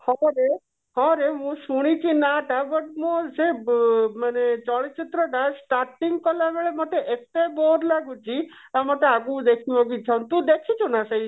କେତେବେଳେ ହଁ ରେ ମୁଁ ଶୁଣିଛି ନା ଟା but ମୁଁ ସେ ଚଳଚିତ୍ର ଟା ମାନେ starting କଲାବେଳେ ମତେ ଏତେ bore ଲାଗୁଛି ଟା ମତେ ଆଗକୁ ଦେଖିବା କୁ ଇଚ୍ଛା ହଉନି ତୁ ଦେଖିଛୁ ନା